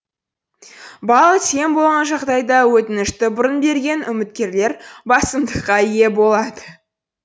балл тең болған жағдайда өтінішті бұрын берген үміткерлер басымдыққа ие болады